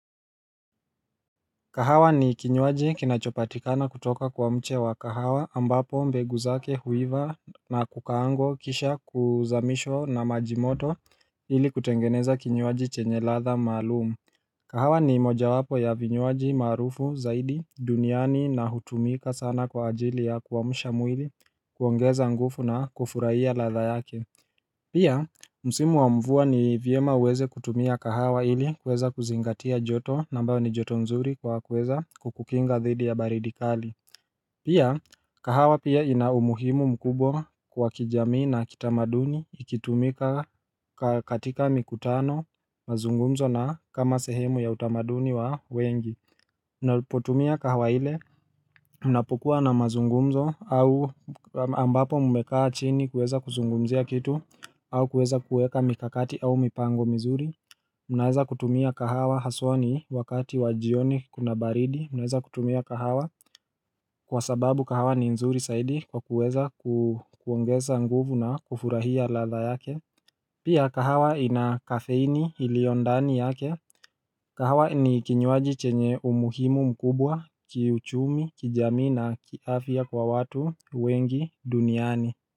Kahawa ni kinywaji kinachopatikana kutoka kwa mche wa kahawa ambapo mbegu zake huiva na kukaangwa kisha kuzamishwa na maji moto ili kutengeneza kinywaji chenye ladha maalumu kahawa ni moja wapo ya vinywaji maarufu zaidi duniani na hutumika sana kwa ajili ya kuamsha mwili kuongeza nguvu na kufurahia ladha yake Pia, msimu wa mvua ni vyema uweze kutumia kahawa ili kuweza kuzingatia joto na ambayo ni joto nzuri kwa kuweza kukukinga dhidi ya baridi kali Pia, kahawa pia ina umuhimu mkubwa kwa kijamii na kitamaduni ikitumika katika mikutano mazungumzo na kama sehemu ya utamaduni wa wengi Mnapotumia kahawa ile Mnapokuwa na mazungumzo au ambapo mmekaa chini kuweza kuzungumzia kitu au kuweza kuweka mikakati au mipango mizuri mnaweza kutumia kahawa haswa ni wakati wa jioni kuna baridi mnaweza kutumia kahawa Kwa sababu kahawa ni nzuri zaidi kwa kuweza kuongeza nguvu na kufurahia ladha yake Pia kahawa ina kafeini iliyondani yake Kahwa ni kinywaji chenye umuhimu mkubwa, kiuchumi, kijamii na kiafya kwa watu, wengi, duniani.